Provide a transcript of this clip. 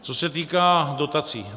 Co se týká dotací.